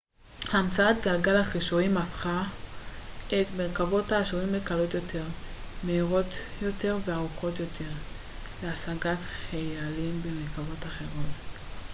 המצאת גלגל החישורים הפך את המרכבות האשוריות לקלות יותר מהירות יותר וערוכות טוב יותר להשגת חיילים ומרכבות אחרות